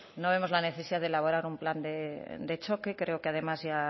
no vemos la necesidad de elaborar un plan de choque creo que además ya